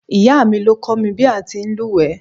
Ìyáà mi ló kọ́ mi ní bí a ti ń lùwẹ̀.